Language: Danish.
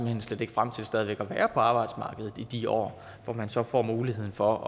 hen slet ikke frem til stadig væk at være på arbejdsmarkedet i de år hvor man så får muligheden for